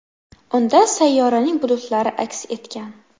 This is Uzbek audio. Unda sayyoraning bulutlari aks etgan.